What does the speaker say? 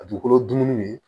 A dugukolo dumuni